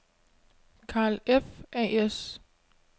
Carl F. A/S